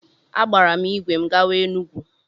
Agbaara m ìgwè m gawa Enugwu.